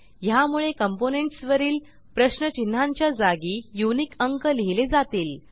ह्यामुळे कॉम्पोनेंट्स वरील प्रश्नचिन्हांच्या जागी युनिक अंक लिहिले जातील